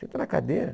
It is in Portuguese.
Senta na cadeira.